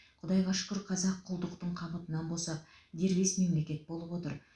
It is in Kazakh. құдайға шүкір қазақ құлдықтың қамытынан босап дербес мемлекет болып отыр